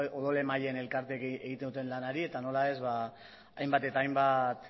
odol emaileen elkarteek egiten duten lanari eta nola ez hainbat eta hainbat